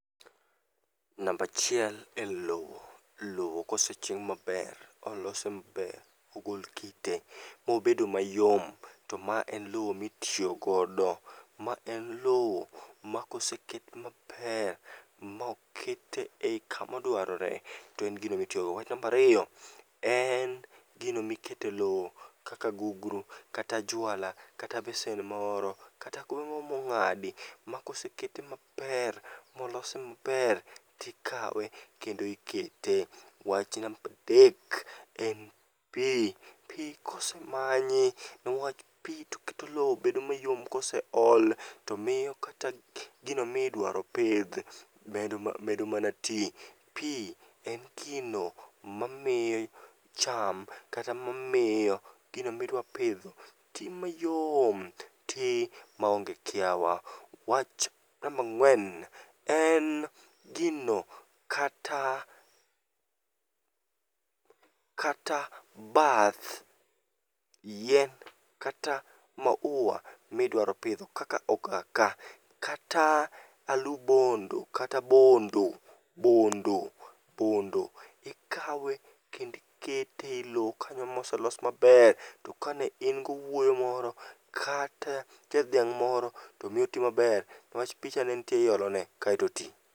Nambachiel en lo, lo koseching' maber molose maber, mogol kite mobedo mayom, to ma en lo mitiyogodo. Ma en lo ma koseket maber maokete ei kamadwarore, to en gino mitiyogo. Wach nambariyo, en gino mikete lo kaka gugru, kata jwala, kata besen moro, kata kube moro mong'adi. Ma kosekete maber molose maber tikawe kendo ikete. Wach nambadek en pi, pi kosemanyi, newach pi toketo lo bedo mayom koseol. To miyo kata gino midwaropidh medo mana ti. Pi en gino mamiyo cham kata mamiyo gino midwapidho ti mayom, ti maonge kiawa. Wach nambang'wen en gino kata bath yien kata maua midwaro pitho kaka ogaka. Kata alu bondo, kata bondo, bondo, bondo. Ikawe kendi ikete e lo kanyo moselos maber. To kane in gowuoyo moro, kata nitie dhiang' moro tomiyo oti maber niwach picha ne nitiere iolone kaeto oti.